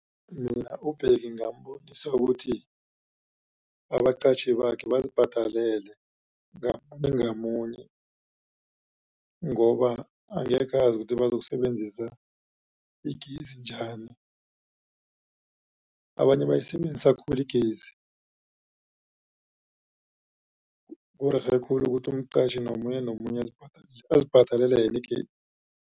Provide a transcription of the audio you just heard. Mina uBheki ngingambonisa ukuthi abaqatjhi bakhe bazibhadelele ngamunye ngamunye ngoba angekhe azi ukuthi bazokusebenzisa igezi njani. Abanye bayisebenzisa khulu igezi kurerhe khulu ukuthi umqatjhi nomunye nomunye azibhadelele yena